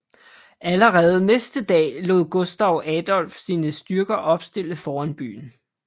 Allerede næste dag lod Gustav Adolf sine styrker opstille foran byen